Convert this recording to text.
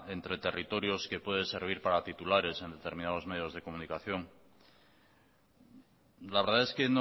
entre territorios que puede servir para titulares en determinados medios de comunicación la verdad es que